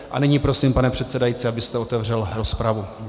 A nyní prosím, pane předsedající, abyste otevřel rozpravu.